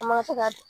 A ma se ka